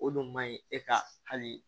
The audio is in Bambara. O dun man ɲi e ka hali